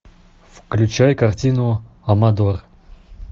включай картину амадор